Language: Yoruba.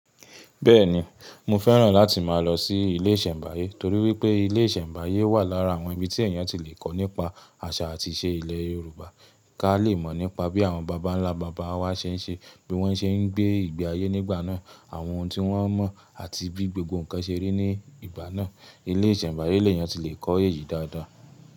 Bẹ́ẹ̀ni, mo fẹ́ràn láti máa lọ sí ilé ìsẹ̀mbáyé torí wípé ilé ìsẹ̀mbáyé wà lára àwọn ibi tí èèyàn ti lè kọ́ nípa àṣà àti ìṣe ilẹ̀ Yorùbá, ká lè mọ̀ nípa bí àwọn bàbá ńlá bàbá wa ṣe ń ṣe, bí wọ́n ṣe ń gbé ìgbé ayé nígbà náà, àwọn ohun tí wọ́n mọ̀ àti bí gbogbo nǹkan ṣe rí ní ìgbà náà. Ilé ìsẹ̀mbáyé lè yàn ti lè kọ́ èyí dáadáa.